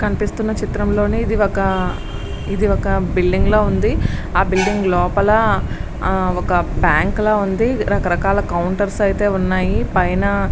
కనిపిస్తున్న చిత్రంలోని ఇది ఒక ఇది ఒక బిల్డింగ్ లో ఉంది. ఆ బిల్డింగ్ లోపల ఒక బ్యాంకులో ఉంది రకరకాల కౌంటర్స్ అయితే ఉన్నాయి. పైన --